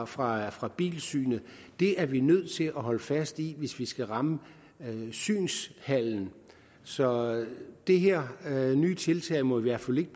fra fra bilsynet er vi nødt til at holde fast i hvis vi skal ramme synshallen så det her nye tiltag må i hvert fald ikke